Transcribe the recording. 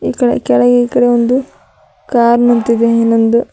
ಕೆಳ ಕೆಳಗೆ ಈಕಡೆ ಒಂದು ಕಾರ್ ನಿಂತಿದೆ ಇನ್ನೊಂದು.